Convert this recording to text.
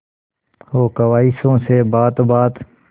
हो ख्वाहिशों से बात बात